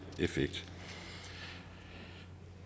effekt